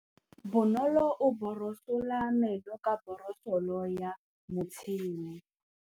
Bonolô o borosola meno ka borosolo ya motšhine.